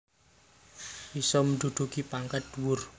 Iso menduduki pangkat dhuwur